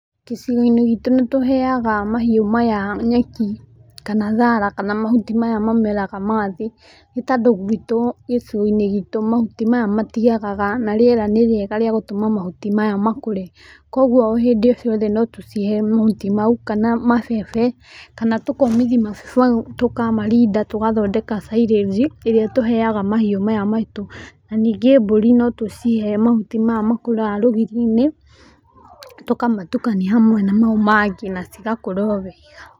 Gĩcigo-inĩ gitũ nĩ tũheaga mahiũ maya nyeki kana thara kana mahuti maya mameraga ma thĩ, nĩ tondũ gwĩtũ gĩcigo-inĩ gitũ mahuti maya matĩagaga na rĩera nĩ rĩega rĩa gũtũma mahũti maya makũre, kogũo hĩndĩ ciothe no tũcihe mahũti mau, kana mabebe, kana tũkomĩthia mabebe macio tũkamarinda tũgathondeka cairanji ĩrĩa tũheaga mahiũ maya maitũ, na ningĩ mbũri no tũcihe mahuti maya makũraga rũgiri-inĩ, tũkamatũkania hamwe na mau mangĩ nacigakũra o wega.